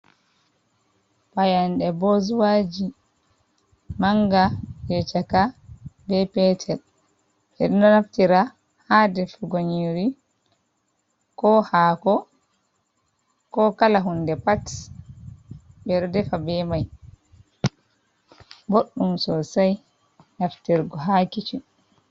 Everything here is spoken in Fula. Fayande bozuwaji, manga jei chaka be petel, ɓe ɗo naftira ha defugo nyiri, ko haako ko kala hunde pat ɓe ɗo defa be mai, boɗɗum sosai naftirgo ha kicin.